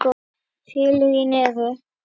Félögin eru